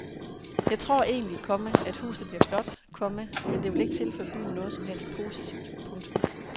Jeg tror egentlig, komma at huset bliver flot, komma men det vil ikke tilføre byen noget som helst positivt. punktum